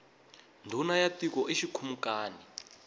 ndhuna ya tiko i xikhumukani